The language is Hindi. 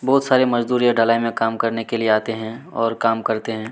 बहुत सारे मजदूर यह ढलाई में काम करने के लिए आते है और काम करते हैं।